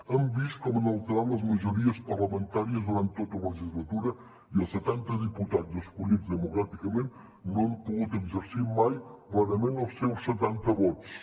hem vist com han alterat les majories parlamentàries durant tota la legislatura i els setanta diputats escollits democràticament no han pogut exercir mai plenament els seus setanta vots